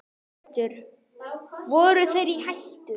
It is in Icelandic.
Hjörtur: Voru þeir í hættu?